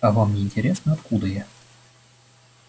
а вам не интересно откуда я